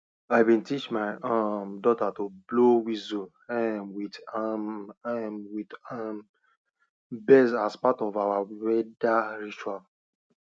i bin teach my um daughter to blow whistle um wit um um wit um birds as part of our weather ritual